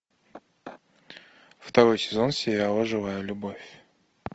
второй сезон сериала живая любовь